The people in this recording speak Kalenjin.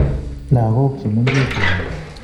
Lagok chemengechen